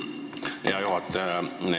Aitäh, hea juhataja!